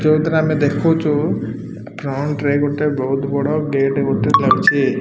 ଯୋଉଥିରେ ଆମେ ଦେଖୁଚୁ ଫ୍ରଣ୍ଟ୍ ରେ ଗୋଟେ ବୋହୁତ୍ ବଡ଼ ଗେଟ୍ ଗୋଟେ ଲାଗିଛି।